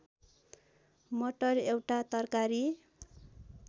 मटर एउटा तरकारी